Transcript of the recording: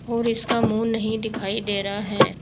और इसका मुंह नहीं दिखाई दे रहा है।